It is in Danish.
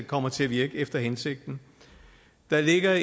kommer til at virke efter hensigten der ligger